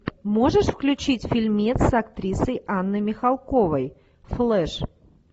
можешь включить фильмец с актрисой анной михалковой флэш